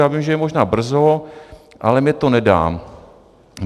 Já vím, že je možná brzo, ale mně to nedá.